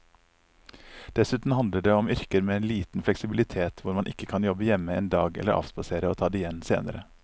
Dessuten handler det om yrker med liten fleksibilitet hvor man ikke kan jobbe hjemme en dag eller avspasere og ta det igjen senere.